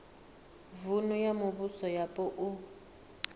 vunu na mivhuso yapo u